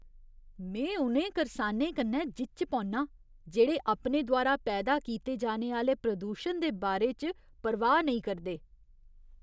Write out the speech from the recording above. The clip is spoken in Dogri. में उ'नें करसाने कन्नै जिच्च पौन्नां जेह्ड़े अपने द्वारा पैदा कीते जाने आह्‌ले प्रदूशन दे बारे च परवाह् नेईं करदे।